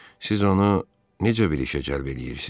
Siz onu necə bir işə cəlb eləyirsiz?